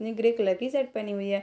ये grey colour की shirt पेहनी हुई है।